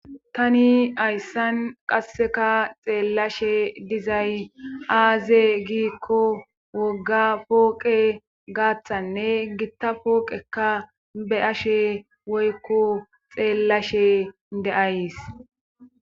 Tani hayssan qasseka xeellashe dizay aaze giikko wogga pooqe gaaththanne gitta pooqekka be'ashe woykko xeellashe de'ays